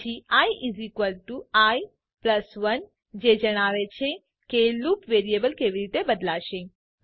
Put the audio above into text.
પછી i i1 જે જણાવે છે કે લૂપ વેરિયેબલ કેવી રીતે બદલાશે